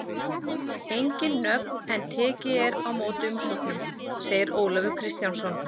Engin nöfn en tekið er á móti umsóknum, segir Ólafur Kristjánsson.